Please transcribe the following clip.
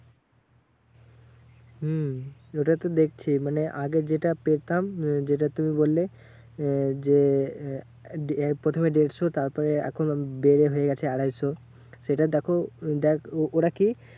হম ওটাই তো দেখছি। মানে আগে যেটা পেতাম যেটা তুমি বললে আহ যে আহ প্রথমে দেড়শো তারপরে এখন বেড়ে হয়ে গেছে আড়াইশ। সেটা দেখো দেখ ওরা কি